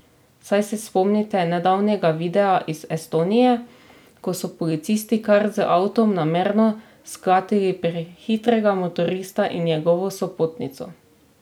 Saj se spomnite nedavnega videa iz Estonije, ko so policisti kar z avtom namerno sklatili prehitrega motorista in njegovo sopotnico?